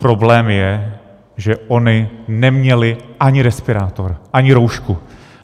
Problém je, že ony neměly ani respirátor, ani roušku.